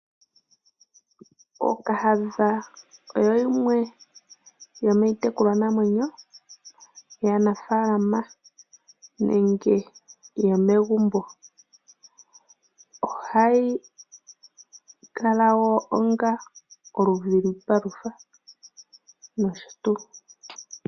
Ookahadha oyo yimwe yomiitekulwanamwenyo, yaanafaalama nenge yomegumbo. Ohayi kala wo onga oludhi lwiipalutha noshotuu.